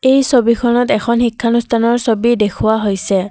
এই ছবিখনত এখন শিক্ষানুষ্ঠানৰ ছবি দেখুওৱা হৈছে।